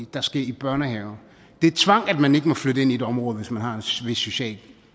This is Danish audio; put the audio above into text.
der skal i børnehave det er tvang at man ikke må flytte ind i et område hvis man har en bestemt social